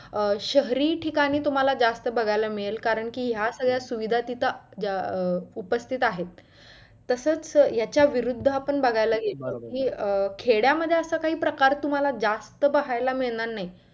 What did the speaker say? अं शहरी ठिकाणी तुम्हाला जास्त बघायला मिळेल कारण कि या सगळ्या सुविधा तिथं अं उपस्थित आहेत. तसचं याच्या विरुद्ध आपण बघायला गेलो तर कि खेड्यांमध्ये असं काही प्रकार तुम्हाला जास्त पाहायला मिळणार नाही.